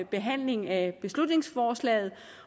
behandling af beslutningsforslaget